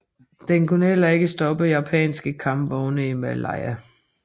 Den kunne heller ikke stoppe japanske kampvogne i Malaya